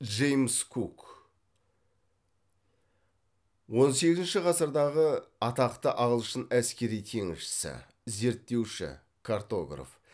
джеймс кук он сегізінші ғасырдағы атақты ағылшын әскери теңізшісі зерттеуші картограф